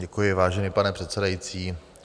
Děkuji, vážený pane předsedající.